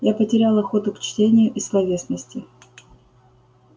я потерял охоту к чтению и словесности